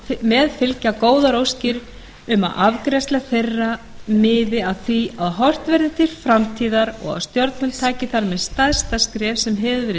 með fylgja góðar óskir um að afgreiðsla þeirra miði að því að horft verði til framtíðar og að stjórnvöld taki þar með stærsta skref sem hefur verið